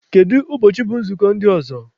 Kedụ ụbọchị bụ nzukọ ndị ọzọ?